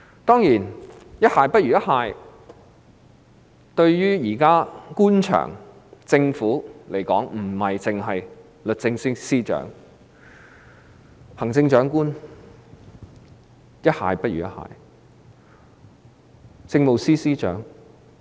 當然，不只律政司司長可以比喻為"一蟹不如一蟹"，這個比喻也適用於行政長官和政務司司長。